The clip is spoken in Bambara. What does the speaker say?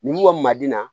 Ni wa maden na